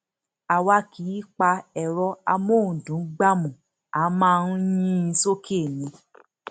àwa kì í pa ẹrọ amóhùndùngbámú a máa ń yìn ín sókè ni